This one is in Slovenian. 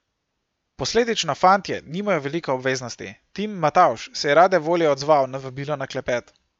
Posledično fantje nimajo veliko obveznosti, Tim Matavž se je rade volje odzval na vabilo na klepet.